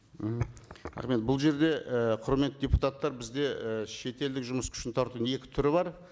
мхм рахмет бұл жерде і құрметті депутаттар бізде і шетелдік жұмыс күшін тартудың екі түрі бар